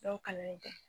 Dɔw kalannen tɛ